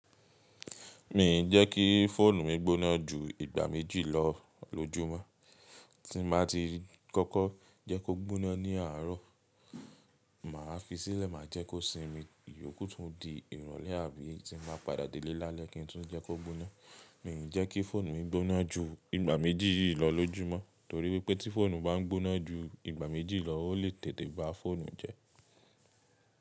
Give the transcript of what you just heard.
Mi n jẹ́ kí fóònù mi gbóná ju ìgbà méjì lọ lójúmọ́. Tí n bá ti kọ́kọ́ jẹ́ kó gbóná ní àárọ̀, màá fi í sílẹ̀ maá jẹ́ kó sinmi. Iyòkù tún di ìrọ̀lẹ́ àbí tí n bá padà dé ilé lálẹ́ kí n tún jẹ́ kó gbóná. Mi n jẹ́ kí fóònù mi gbóná ju ìgbà méjì yìí lọ lójúmọ́, torí wípẹ́ tí fóònù bá n gbóná ju ìgbà méjì lọ, ó lè tètè bá fóònù jẹ́.